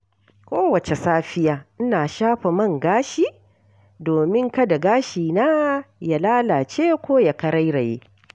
Kowace safiya, ina shafa man gashi domin kada gashina ya lalace ko ya karairaye.